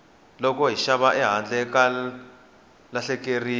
loko hi xava ehandle ha lahlekeriwa